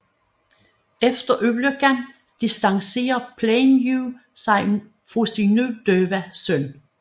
Efter ulykken distancerer Plainview sig fra sin nu døve søn